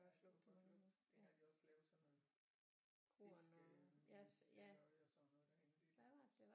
Ja det kunne man godt lugte dengang de også lavede sådan noget fiskemelshalløj og sådan noget